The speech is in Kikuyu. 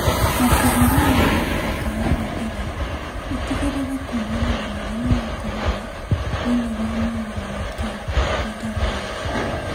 Mabururi ma Africa ya irathiro itigirire kuumana na murimu wa Corona Thĩinĩ wa marũa make, Bw.